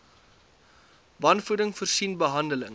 wanvoeding voorsien behandeling